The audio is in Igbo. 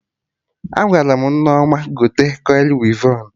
Agwaram Nneoma gote kọili wivon